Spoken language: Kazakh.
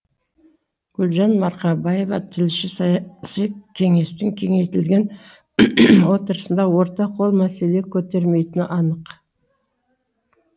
гүлжан марқабаева тілші саяси кеңестің кеңейтілген отырыстарында орта қол мәселе көтермейтіні анық